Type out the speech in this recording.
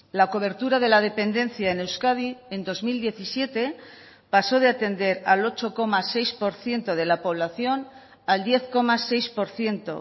la cobertura de la dependencia en euskadi en dos mil diecisiete pasó de atender al ocho coma seis por ciento de la población al diez coma seis por ciento